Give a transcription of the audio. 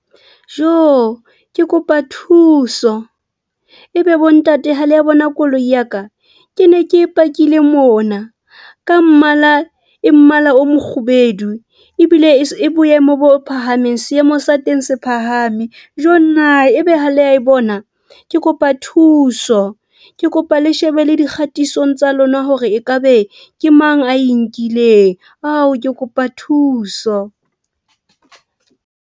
Joo, ke kopa thuso ebe bo ntate hale a bona koloi ya ka? Ke ne ke e pakile mona ka mmala e mmala o mokgubedu ebile e boemo bo phahameng. Seemo sa teng se phahame. Joo nna, ebe ha le a e bona? Ke kopa thuso? Ke kopa le shebe le dikgatisong tsa lona, hore ekabe ke mang a e nkileng ao, ke kopa thuso.